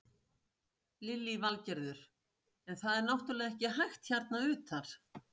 Lillý Valgerður: En það er náttúrulega ekki hægt hérna utar?